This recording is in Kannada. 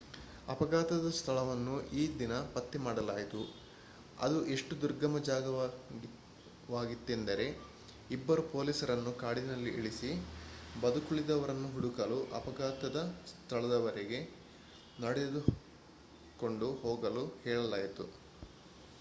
ಅಫಘಾತದ ಸ್ಥಳವನ್ನು ಈ ದಿನ ಪತ್ತೆ ಮಾಡಲಾಯಿತು ಅದು ಎಷ್ಟು ದುರ್ಗಮ ಜಾಗವಾಗಿತ್ತೆಂದರೆ ಇಬ್ಬರು ಪೋಲೀಸರನ್ನು ಕಾಡಿನಲ್ಲಿ ಇಳಿಸಿ ಬದುಕುಳಿದವರನ್ನು ಹುಡುಕಲು ಅಪಘಾತದ ಸ್ಥಳದವರೆಗೆ ನಡೆದುಕೊಂಡು ಹೋಗಲು ಹೇಳಲಾಯಿತು